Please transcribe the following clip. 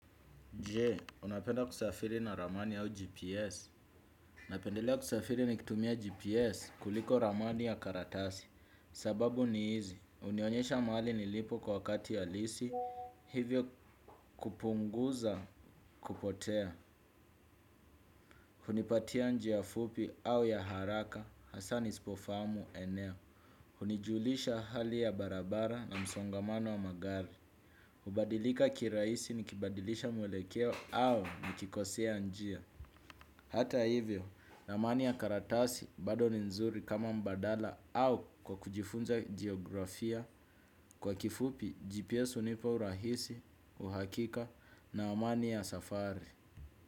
Je, unapenda kusafiri na ramani au GPS? Napendelea kusafiri nikitumia GPS kuliko ramani ya karatasi. Sababu ni hizi. Hunionyesha mahali nilipo kwa wakati halisi. Hivyo kupunguza kupotea. Hunipatia njia fupi au ya haraka. Hasa nisipofahamu eneo. Hunijulisha hali ya barabara na msongamano wa magari. Hubadilika kiraisi nikibadilisha mwelekeo au nikikosea njia. Hata hivyo ramani ya karatasi bado ni nzuri kama mbadala au kwa kujifunza geografia kwa kifupi GPS hunipa urahisi, uhakika na amani ya safari.